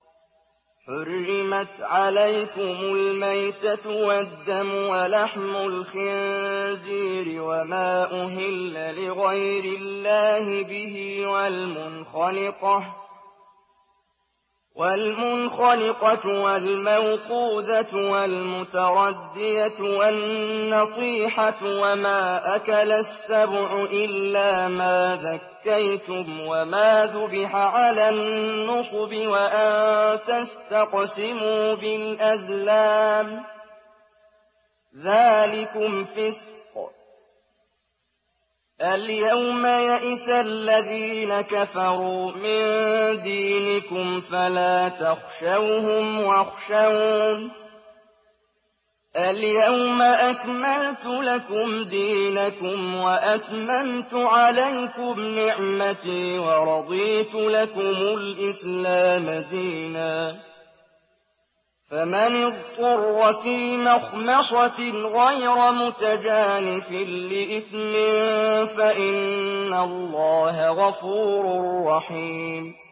حُرِّمَتْ عَلَيْكُمُ الْمَيْتَةُ وَالدَّمُ وَلَحْمُ الْخِنزِيرِ وَمَا أُهِلَّ لِغَيْرِ اللَّهِ بِهِ وَالْمُنْخَنِقَةُ وَالْمَوْقُوذَةُ وَالْمُتَرَدِّيَةُ وَالنَّطِيحَةُ وَمَا أَكَلَ السَّبُعُ إِلَّا مَا ذَكَّيْتُمْ وَمَا ذُبِحَ عَلَى النُّصُبِ وَأَن تَسْتَقْسِمُوا بِالْأَزْلَامِ ۚ ذَٰلِكُمْ فِسْقٌ ۗ الْيَوْمَ يَئِسَ الَّذِينَ كَفَرُوا مِن دِينِكُمْ فَلَا تَخْشَوْهُمْ وَاخْشَوْنِ ۚ الْيَوْمَ أَكْمَلْتُ لَكُمْ دِينَكُمْ وَأَتْمَمْتُ عَلَيْكُمْ نِعْمَتِي وَرَضِيتُ لَكُمُ الْإِسْلَامَ دِينًا ۚ فَمَنِ اضْطُرَّ فِي مَخْمَصَةٍ غَيْرَ مُتَجَانِفٍ لِّإِثْمٍ ۙ فَإِنَّ اللَّهَ غَفُورٌ رَّحِيمٌ